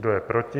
Kdo je proti?